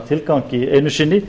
tilgangi einu sinni